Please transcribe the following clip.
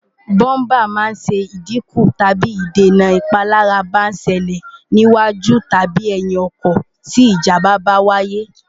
búmbà máa ń ṣẹ ìdíkù tàbí dènà ìpalára bá ṣẹlẹ̀ sí iwájú tàbi ẹ̀yìn ọkọ̀ tí ìjàmbá bá wáyé